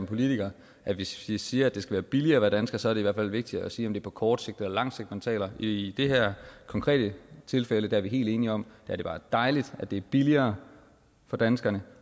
politiker at hvis vi siger det skal være billigere at være dansker så er det i hvert fald vigtigt at sige om det er på kort sigt eller lang sigt man taler i det her konkrete tilfælde er vi helt enige om at det bare er dejligt at det er billigere for danskerne